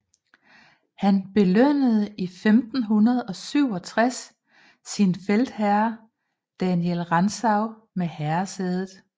Han belønnede i 1567 sin feltherre Daniel Rantzau med herresædet